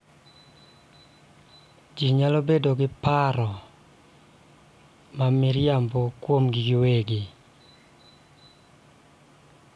Ji nyalo bedo gi paro ma miriambo kuomgi giwegi